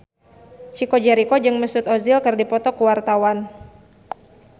Chico Jericho jeung Mesut Ozil keur dipoto ku wartawan